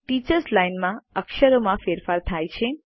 teachers line માં અક્ષરોમાં ફેરફાર થાય છે